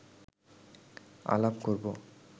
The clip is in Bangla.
আলাপ করব